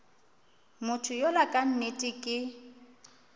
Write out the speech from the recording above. motho yola ka nnete ke